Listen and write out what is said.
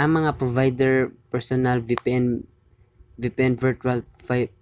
ang mga provider sa personal vpn virtual